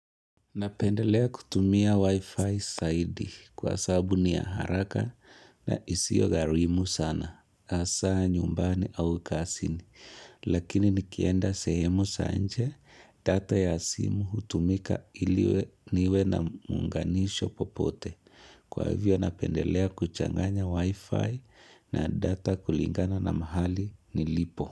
Napendelea kutumia wi-fi zaidi kwa sababu ni ya haraka na isiyo gharimu sana hasaa nyumbani au kazini lakini nikienda sehemu za nje, data ya simu hutumika iliwe niwe na muunganisho popote kwa hivyo napendelea kuchanganya wi-fi na data kulingana na mahali nilipo.